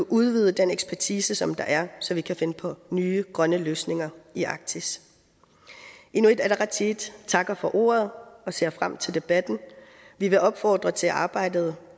udvide den ekspertise som der er så vi kan finde på nye grønne løsninger i arktis inuit ataqatigiit takker for ordet og ser frem til debatten vi vil opfordre til at arbejdet